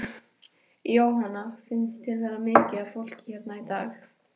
Jóhanna: Finnst þér vera mikið af fólki hérna í dag?